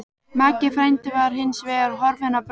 Maggi frændi var hins vegar horfinn á braut.